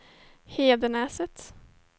Hedenäset